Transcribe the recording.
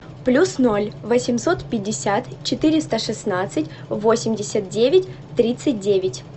плюс ноль восемьсот пятьдесят четыреста шестнадцать восемьдесят девять тридцать девять